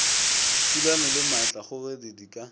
thulano le maatlakgogedi di ka